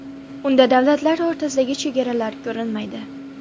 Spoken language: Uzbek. Unda davlatlar o‘rtasidagi chegaralar ko‘rinmaydi.